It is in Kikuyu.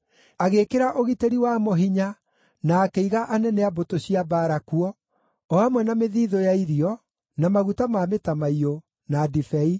Agĩĩkĩra ũgitĩri wamo hinya na akĩiga anene a mbũtũ cia mbaara kuo, o hamwe na mĩthiithũ ya irio, na maguta ma mĩtamaiyũ, na ndibei.